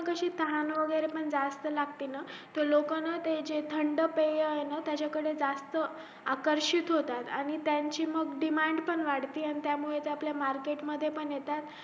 अशी तहान वैगेरे पण जास्त लागते ना लोक ना जे ते थंड पेय ना त्याच्या कडे जास्त आकर्षित होतात आणि त्यांची मग demand पण वाढती त्या मुले ते market मध्ये पण येता